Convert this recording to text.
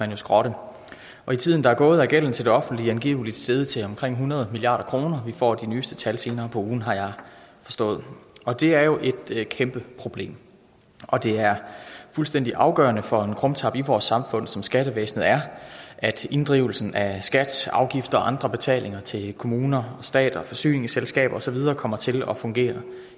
jo skrotte i tiden der er gået er gælden til det offentlige angiveligt steget til omkring hundrede milliard kroner vi får de nyeste tal senere på ugen har jeg forstået det er jo et kæmpe problem og det er fuldstændig afgørende for en krumtap i vores samfund som skattevæsenet er at inddrivelsen af skats afgifter og andre betalinger til kommuner stat forsyningsselskaber og så videre kommer til at fungere